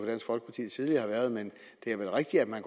tidligere har været men det er vel rigtigt at man